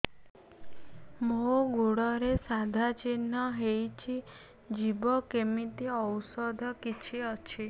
ମୋ ଗୁଡ଼ରେ ସାଧା ଚିହ୍ନ ହେଇଚି ଯିବ କେମିତି ଔଷଧ କିଛି ଅଛି